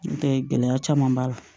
N tɛ gɛlɛya caman b'a la